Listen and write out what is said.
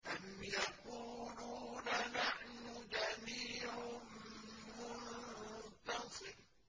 أَمْ يَقُولُونَ نَحْنُ جَمِيعٌ مُّنتَصِرٌ